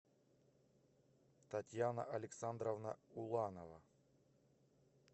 татьяна александровна уланова